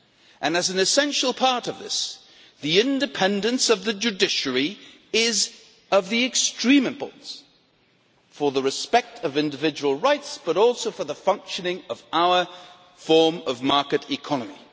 And, as an essential part of this, the independence of the judiciary is of extreme importance for respect for individual rights and also for the functioning of our form of market economy.